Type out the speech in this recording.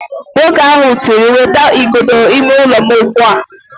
Nwoke ahụ tiri, "wetaa igodo ime ụlọ m ugbu a"!